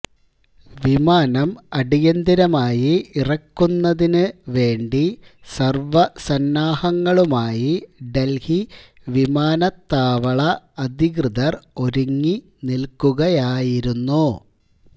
വിമാനം അടിയന്തരമായി ഇറക്കുന്നതിന് വേണ്ടി സര്വസന്നാഹങ്ങളുമായി ദല്ഹി വിമാനത്താവള അധികതൃര് ഒരുങ്ങി നില്ക്കുകയായിരുന്നു